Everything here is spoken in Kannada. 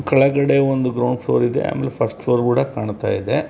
ಕೆಲ್ಗಡೆ ಒಂದು ಗ್ರೌಂಡ್ ಫ್ಲೋರ್ ಇದೆ ಹಾಗೆ ಫಸ್ಟ್ ಫ್ಲೋರ್ ಕೂಡ ಕಂಠ ಇದೆ.